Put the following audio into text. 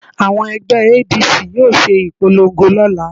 Àwọn ẹgbẹ́ ADC yóò ṣe ìpolongo lọ́la